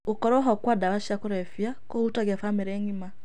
Gũkorwo ho kwa ndawa cia kũrebya kũhutagia bamĩrĩ ng'ima.